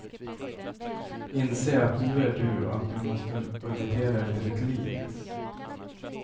Inse att du är du och att du måste budgetera efter ditt liv.